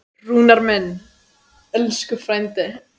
Rúnar minn, elsku frændi.